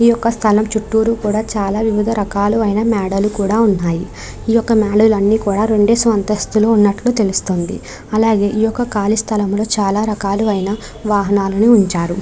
ఈ యొక్క స్థలం చుట్టూరు కూడా చాలా వివిధ రకాలు అయిన మేడలు కూడా ఉన్నాయి. ఈ యొక్క మెడలో అన్ని కూడా రెండేసి అంతస్తులు ఉన్నట్లు తెలుస్తుంది. అలాగే ఈ యొక్క కాలి స్థలములో చాలా రకాలు అయిన వాహనాలని ఉంచారు.